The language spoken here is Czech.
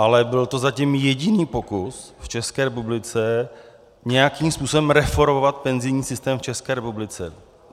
Ale byl to zatím jediný pokus v České republice nějakým způsobem reformovat penzijní systém v České republice.